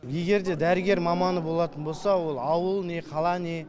егер де дәрігер маманы болатын болса ол ауыл не қала не